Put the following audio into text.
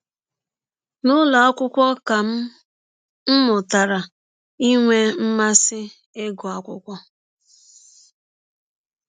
“ N’ụlọ akwụkwọ ka m m mụtara inwe mmasị ịgụ akwụkwọ.